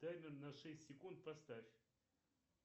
таймер на шесть секунд поставь